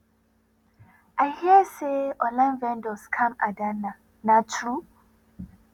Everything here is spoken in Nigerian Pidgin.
i hear say one online vendor scam adanna na true